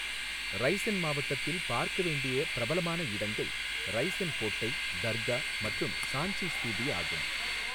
ரைஸென் மாவட்டத்தில் பார்க்க வேண்டிய பிரபலமான இடங்கள் ரைஸென் கோட்டை, தர்கா மற்றும் சாஞ்சி ஸ்தூபி ஆகும்.